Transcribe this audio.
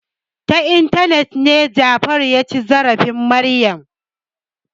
Ta intanet ne Jafaru ya ci zarafin Maryam.